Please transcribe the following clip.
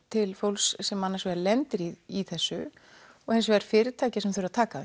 til fólks sem annars vegar lendir í í þessu og hins vegar fyrirtæki sem þurfa að taka